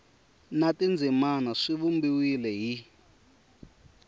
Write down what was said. na tindzimana swi vumbiwile hi